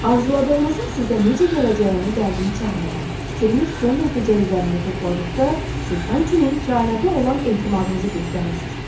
Arzuladığınızın sizə necə gələcəyini dərdini çəkmədən, fikriniz son nəticə üzərində topladığınız vaxtda siz həmçinin kainata olan etimadınızı göstərirsiz.